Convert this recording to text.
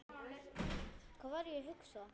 Hvað var ég að hugsa?